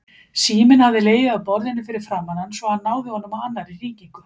Síminn hafði legið á borðinu fyrir framan hann svo hann náði honum á annarri hringingu.